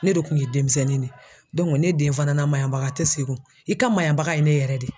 Ne de kun ye denmisɛnnin de ye ne den fana na maɲabaga te sigin i ka mayabaga ye ne yɛrɛ de ye.